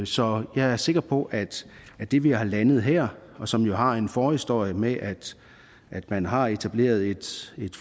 så jeg er sikker på at at det vi har landet her og som jo har en forhistorie med at man har etableret et